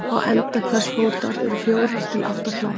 Á enda hvers fótar eru fjórar til átta klær.